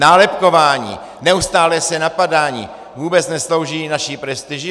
Nálepkování, neustálé se napadání vůbec neslouží naší prestiži.